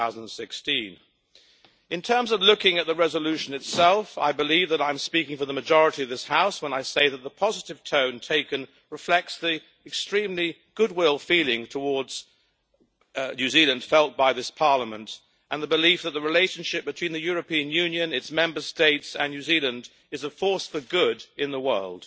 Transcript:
2016. Looking at the resolution itself, I believe that I am speaking for the majority of this House, when I say that the positive tone taken reflects the extremely good will towards New Zealand felt by this Parliament and the belief that the relationship between the European Union, its Member States and New Zealand is a force for good in the world.